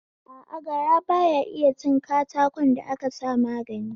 A a, gara baya iya cin katakon da aka sa magani